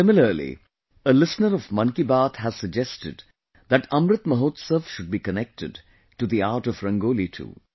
similarly a listener of "Mann Ki Baat" has suggested that Amrit Mahotsav should be connected to the art of Rangoli too